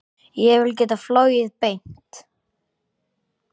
Ég vil geta flogið beint.